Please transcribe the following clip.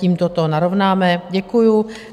Tímto to narovnáme, děkuju.